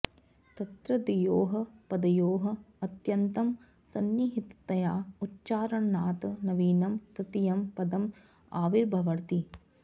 तत्र द्वयोः पदयोः अत्यन्तं संनिहिततया उच्चारणात् नवीनं तृतीयं पदम् आविर्भवति